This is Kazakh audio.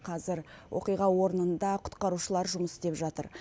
қазір оқиға орнында құтқарушылар жұмыс істеп жатыр